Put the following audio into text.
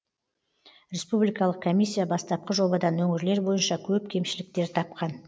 республикалық комиссия бастапқы жобадан өңірлер бойынша көп кемшіліктер тапқан